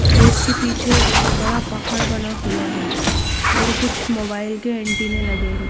खेत के पीछे एक बहोत बड़ा पहाड़ बना हुआ है और कुछ मोबाइल के एंटीने लगे है।